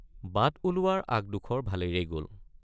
বাট ওলোৱাৰ আগডোখৰ ভালেৰেই গল।